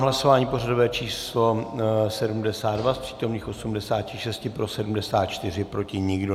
V hlasování pořadové číslo 72 z přítomných 86 pro 74, proti nikdo.